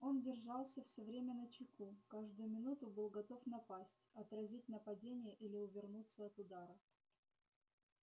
он держался все время начеку каждую минуту был готов напасть отразить нападение или увернуться от удара